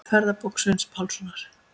Ferðabók Sveins Pálssonar.